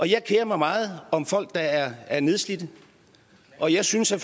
jeg kerer mig meget om folk der er er nedslidte og jeg synes at